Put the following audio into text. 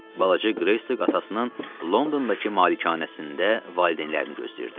Balaca Qreystok atasının Londondakı malikanəsində valideynlərini gözləyirdi.